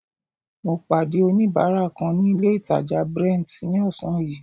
Mo pàdé oníbárà kan ní ilé ìtàjà Brent ní ọ̀sán yìí.